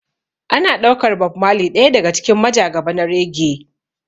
Ana ɗaukar Bob marley ɗaya daga cikin majagaba na reggae.